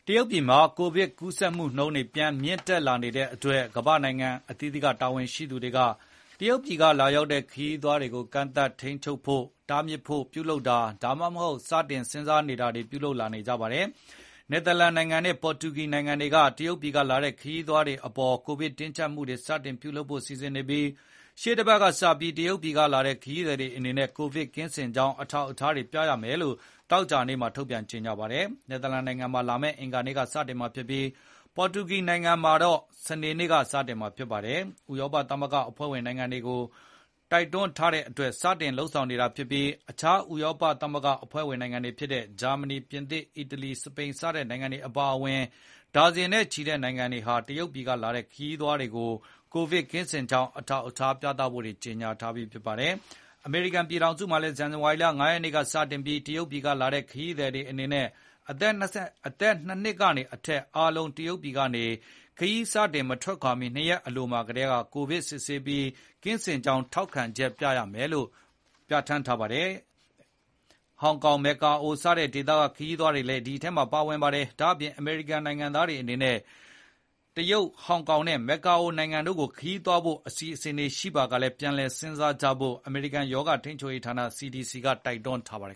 တရုတ်ပြည်မှာ ကိုဗစ်ကူးဆက်မှုနှုန်းတွေပြန်မြင့်တက်လာနေတဲ့အတွက် ကမ္ဘာ့နိုင်ငံအသီးသီးက တာဝန်ရှိသူတွေက တရုတ်ပြည်ကလာရောက်တဲ့ ခရီးသွားတွေကို ကန့်သတ်ထိန်းချုပ်ဖို့၊ တားမြစ်ဖို့ ပြုလုပ်တာ ဒါမှမဟုတ် စတင်စဉ်စားနေ တာတွေပြုလုပ်လာနေကြပါတယ်။ နယ်သာလန်နိုင်ငံနဲ့ ပေါ်တူဂီနိုင်ငံတွေက တရုတ်ပြည်ကလာတဲ့ ခရီးသွားတွေကိုအပေါ်ကိုဗစ်တင်းကြပ်မှုတွေစတင်ပြု လုပ်ဖို့ စီစဉ်နေပြီး၊ ရှေ့တပတ်ကစပြီး တရုတ်ပြည်ကလာတဲ့ ခရီးသည်တွေအနေနဲ့ကိုဗစ်ကင်း စင်ကြောင်းအထောက်အ ထားတွေပြရမယ်လို့သောကြာနေ့မှာထုတ်ပြန်ကြေငြာပါတယ်။ နယ်သာလန်နိုင်ငံမှာ လာမယ့်အင်္ဂါနေ့ကစတင်မှာဖြစ်ပြီး၊ ပေါ်တူဂီမှာတော့ ဒီကနေ့ စနေေ န့ကစတင်မှာဖြစ်ပါတယ်။ ဥရောပသမဂ္ဂကအဖွဲ့ဝင်နိုင်ငံတွေကို တိုက်တွန်းထားတဲ့အတွက် စတင်လုပ်ဆောင်နေတာဖြစ်ပြီးအခြား ဥရောပသမဂ္ဂ အဖွဲ့ဝင်နိုင်ငံတွေဖြစ်တဲ့ ဂျာမဏီ၊ ပြင်သစ်၊ အီတလီ၊ စပိန် စတဲ့နိုင်ငံတွေအပါအဝင် ဒါဇင်နဲ့ချီတဲ့နိုင်ငံတွေဟာ တရုတ်ပြည်ကလာတဲ့ခရီးသွားတွေကို ကိုဗစ်ကင်းစင်ကြောင်းအထောက်အထားပြသဖို့ ကြေငြာထားပြီးဖြစ်ပါတယ်။ အမေရိကန်ပြည်ထောင်စုမှာလည်း ဇန္နဝါရီလ ၅ ရက်နေ့ကတည်းကစတင်ပြီး တရုတ်ပြည်ကနေ လာတဲ့ခရီးသည်တွေ အနေနဲ့ အသက် ၂ နှစ်ကနေအထက်အားလုံး တရုတ်ပြည်ကနေခရီးစတင်မထွက်ခွါမီ ၂ ရက်အလိုမှာ ကိုဗစ်စစ်ဆေးပြီး၊ ကင်းစင်ကြောင်းထောက်ခံချက်မပါမနေရပြဌာန်းထားပါတယ်။ အဲဒိအထဲမှာ ဟောင်ကောင်၊ မက္ကာအိုစတဲ့ ဒေသကခရီးသွားတွေလည်းပါဝင်ပါတယ်။ ဒါအပြင် အမေရိကန်နိုင်ငံသား တွေအနေနဲ့လည်း တရုတ်၊ ဟောင်ကောင်နဲ့ မက္ကာအိုနိုင် တို့ကိုခရီးသွားဖို့အစီစဉ်ရှိပါက ပြန်လည်စဉ်းစားကြဖို့ကိုလည်း အမေရိကန်ရောဂါထိန်းချုပ်ရေးဌာန CDC ကတိုက်တွန်းထားပါတယ်